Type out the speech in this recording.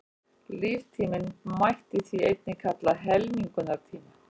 Líftímann mætti því einnig kalla helmingunartíma.